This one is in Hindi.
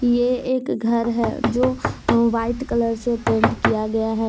यह एक घर है जो अह व्हाइट कलर से पेंट किया गया है।